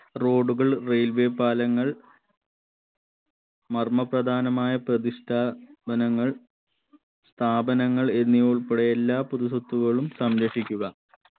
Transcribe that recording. road കൾ railway പാലങ്ങൾ മർമ്മപ്രധാനമായ പ്രതിഷ്ഠാ വനങ്ങൾ സ്ഥാപനങ്ങൾ എന്നിവ ഉൾപ്പടെ എല്ലാ പൊതു സ്വത്തുക്കളും സംരക്ഷിക്കുക